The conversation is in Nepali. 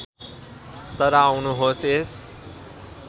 तर आउनुहोस् यस